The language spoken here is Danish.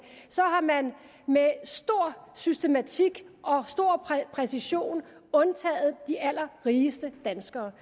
har man med stor systematik og stor præcision undtaget de allerrigeste danskere